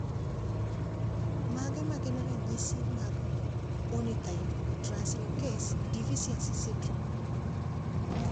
Mage magin ranyisi mag Ornithine translocase deficiency syndrome?